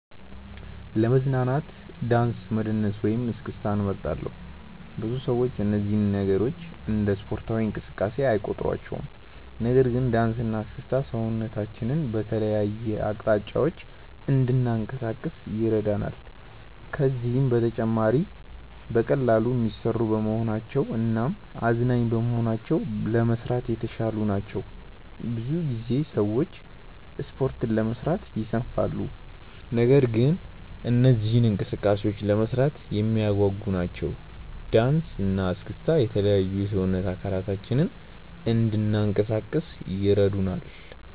ለመዝናናት ዳንስ መደነስን ወይም እስክስታን እመርጣለሁ። ብዙ ሰዎች እነዚህን ነገሮች እንደ ስፖርታዊ እንቅስቃሴ አይቆጥሯቸውም። ነገር ግን ዳንስ እና እስክስታ ሰውነታችንን በተለያዩ አቅጣጫዎች እንድናንቀሳቅስ ይረዳናል። ከዛም በተጨማሪ በቀላሉ የሚሰሩ በመሆናቸው እናም አዝናኝ በመሆናቸው ለመስራት የተሻሉ ናቸው። ብዙ ጊዜ ሰዎች ስፖርት ለመስራት ይሰንፋሉ። ነገር ግን እነዚህ እንቅስቃሴዎች ለመስራት የሚያጓጉ ናቸው። ዳንሰ እና እስክስታ የተለያዩ የሰውነት አካላችንን እንናንቀሳቀስ ይረዱናል።